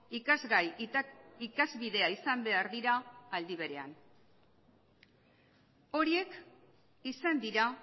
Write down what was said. ikasgai ikasbidea izan behar dira aldi berean horiek izan dira